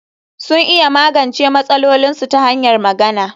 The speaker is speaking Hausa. Sun iya magance matsalolinsu ta hanyar magana